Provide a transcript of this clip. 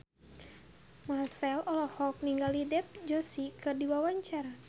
Marchell olohok ningali Dev Joshi keur diwawancara